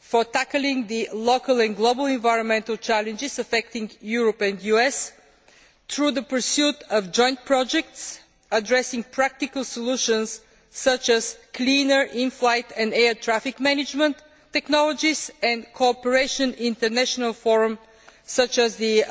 for tackling the local and global environmental challenges affecting Europe and the US through the pursuit of joint projects addressing practical solutions such as cleaner in flight and air traffic management technologies and cooperation in international forums such as the